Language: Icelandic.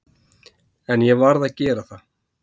En ég varð að gera það.